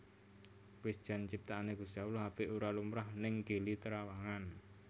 Wis jan ciptaane Gusti Allah apik ora lumrah ning Gili Trawangan